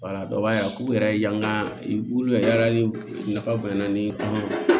b'a ye a k'u yɛrɛ y'an ka olu ye yala ni nafa bonyana ni ye